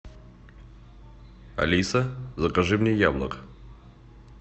алиса закажи мне яблок